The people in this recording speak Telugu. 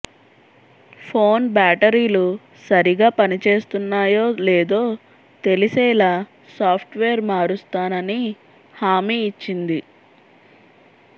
ఫోన్ బ్యాటరీలు సరిగా పనిచేస్తున్నాయో లేదో తెలిసేలా సాఫ్ట్ వేర్ మారుస్తానని హామీ ఇచ్చింది